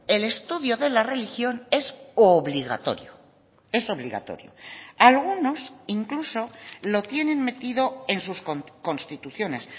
el estudio de la religión es obligatorio es obligatorio algunos incluso lo tienen metido en sus constituciones